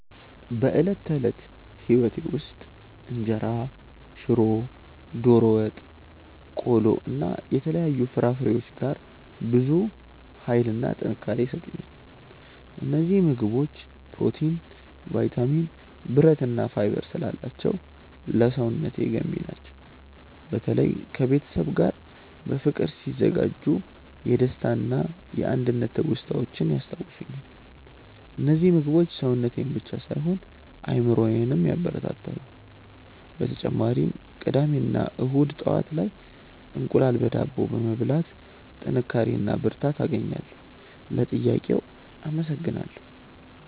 በዕለት ተዕለት ሕይወቴ ውስጥ እንጀራ፣ ሽሮ፣ ዶሮ ወጥ፣ ቆሎ እና የተለያዩ ፍራፍሬዎች ጋር ብዙ ኃይልና ጥንካሬ ይሰጡኛል። እነዚህ ምግቦች ፕሮቲን፣ ቫይታሚን፣ ብረት እና ፋይበር ስላላቸው ለሰውነቴ ገንቢ ናቸው። በተለይ ከቤተሰብ ጋር በፍቅር ሲዘጋጁ የደስታና የአንድነት ትውስታዎችን ያስታውሱኛል። እነዚህ ምግቦች ሰውነቴን ብቻ ሳይሆን አእምሮዬንም ያበረታታሉ። በተጨማሪም ቅዳሜ እና እሁድ ጠዋት ላይ እንቁላል በዳቦ በመብላት ጥንካሬ እና ብርታት አገኛለሁ። ለጥያቄው አመሰግናለሁ።